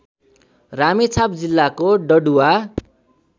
रामेछाप जिल्लाको डडुवा